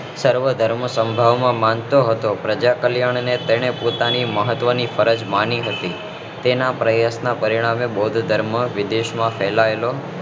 સર્વ ધર્મ સંભવ માં તે માનતો હતો પ્રજા કલ્યાણ ને તેને પોતાની મહત્વ ની ફરજ માની હતી તેના પ્રયત્નો થી બૌદ્ધ ધર્મ વિવિધ દેશ માં ફેલાવેલો